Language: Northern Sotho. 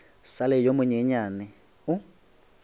sa le yo monyenyane o